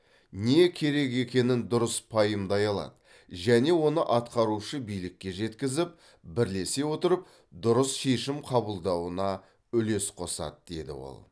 не керек екенін дұрыс пайымдай алады және оны атқарушы билікке жеткізіп бірлесе отырып дұрыс шешім қабылдануына үлес қосады деді ол